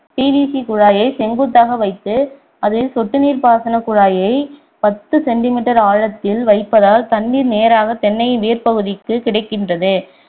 PVC குழாயை செங்குத்தாக வைத்து அதில் சொட்டு நீர் பாசனக் குழாயை பத்து centimeter ஆழத்தில் வைப்பதால் தண்ணீர் நேராக தென்னையின் வேர்ப்பகுதிக்கு கிடைக்கின்றது